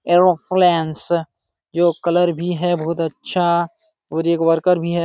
एरोफ्लान्स जो कलर भी है बहुत अच्छा और एक वर्कर भी है।